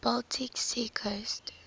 baltic sea coast